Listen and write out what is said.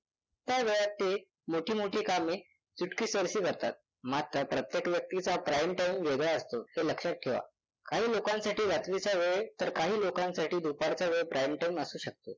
त्या वेळात ते मोठी मोठी कामे चुटकीसरशी करतात. मात्र प्रत्येक व्यक्तीचा prime time वेगळा असतो हे लक्षात ठेवा. काही लोकांसाठी रात्रीचा वेळ तर काही लोकांसाठी दुपारचा वेळ prime असू शकतो.